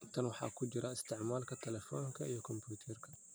Tan waxaa ku jira isticmaalka taleefanka iyo kombuyuutarka.